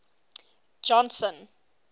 johnson